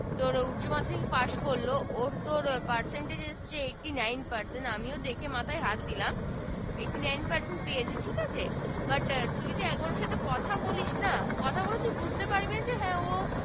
তোর উচ্চ মাধ্যমিক পাশ করলো ওর তোর percentage চেয়ে eighty nine percent আমিও দেখে মাথায় হাত দিলাম eighty nine percent পেয়েছে ঠিক আছে But তুই একবার ওর সাথে কথা বলিস না কথা বলে বুঝতে পারবি না। যে হ্যা ও